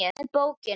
og með bókina!